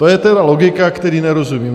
To je tedy logika, které nerozumím.